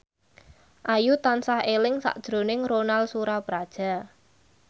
Ayu tansah eling sakjroning Ronal Surapradja